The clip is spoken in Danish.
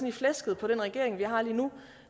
i flæsket på den regering vi har lige nu